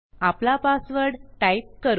आपला password type करू